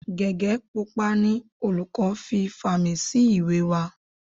Gege pupa ni olùkọ́ fi fàmì sí ìwé wa.